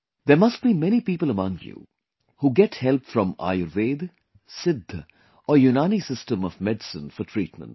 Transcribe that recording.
There must be many people among you, who get help from Ayurveda, Siddha or Unani system of medicine for treatment